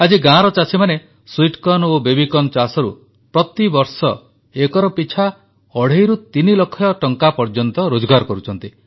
ଆଜି ଗାଁର ଚାଷୀମାନେ ମିଠା ମକା ଓ ବେବି କର୍ନ ଚାଷରୁ ପ୍ରତିବର୍ଷ ଏକର ପିଛା ଅଢ଼େଇରୁ ତିନିଲକ୍ଷ ଟଙ୍କା ପର୍ଯ୍ୟନ୍ତ ରୋଜଗାର କରୁଛନ୍ତି